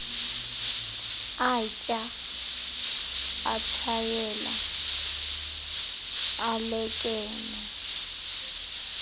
atya atshayela alekenea